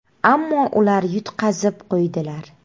Ammo ular yutqazib qo‘ydilar.